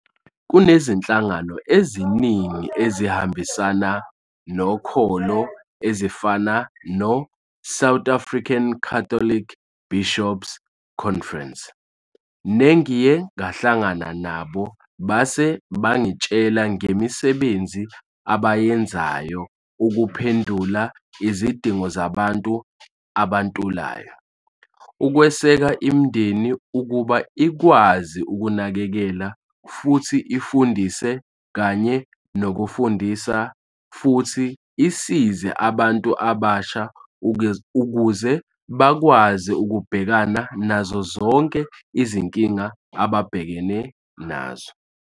Kunezinhlangano eziningi ezihambisana nokholo ezifana no-South African Catholic Bishops' Conference, nengiye ngahlangana nabo base bangitshela ngemisebenzi abayenzayo ukuphendula izidingo zabantu abantulayo, ukweseka imindeni ukuba ikwazi ukunakekela futhi ifundise kanye nokufundisa futhi isize abantu abasha ukuze bakwazi ukubhekana nazo zonke izinkinga ababhekana nazo.